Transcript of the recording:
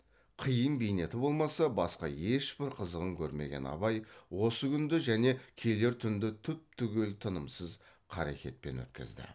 қиын бейнеті болмаса басқа ешбір қызығын көрмеген абай осы күнді және келер түнді түп түгел тынымсыз қарекетпен өткізді